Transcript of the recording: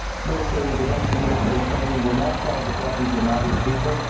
Military intervention and military training will not solve the problems of the Malian people.